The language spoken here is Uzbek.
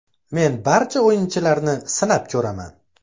Men barcha o‘yinchilarni sinab ko‘raman.